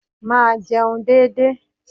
Máa jẹun dédé.